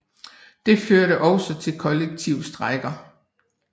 Det førte også til kollektive strejker